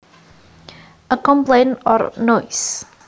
A complaint or noise